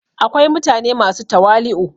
akwai mutane masu tawali'u